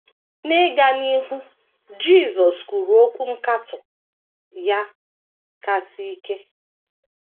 N’ịga n’ihu, Jisọs kwuru okwu nkatọ ya kasị ike.